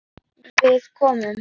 Við komum.